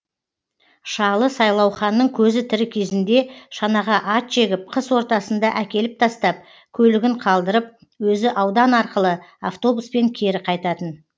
шалы сайлауханның көзі тірі кезінде шанаға ат жегіп қыс ортасында әкеліп тастап көлігін қалдырып өзі аудан арқылы автобуспен кері қайтатын